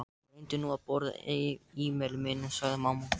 Reyndu nú að borða, Emil minn, sagði mamma.